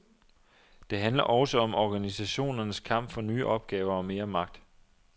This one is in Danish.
Det handler også om organisationernes kamp for nye opgaver og mere magt.